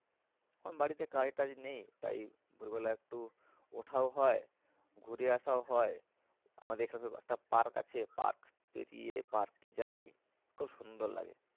এখন বাড়িতে কাজ টাজ নেই তাই ভোর বেলা একটু ওঠাও হয় ঘুরে আসাও হয়। আমাদের এখানে একটা park আছে park পেরিয়ে park এ যাই খুব সুন্দর লাগে।